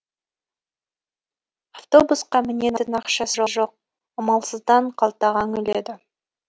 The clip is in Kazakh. автобусқа мінетін ақшасы жоқ амалсыздан қалтаға үңіледі